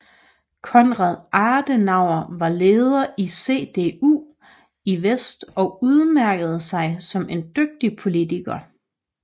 Konrad Adenauer var leder for CDU i vest og udmærkede sig som en dygtig politiker